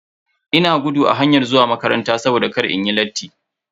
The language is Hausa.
Ina gudu a hayar zuwa makaranta saboda kar inyi latti.